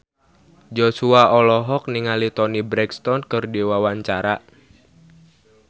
Joshua olohok ningali Toni Brexton keur diwawancara